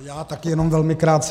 Já taky jenom velmi krátce.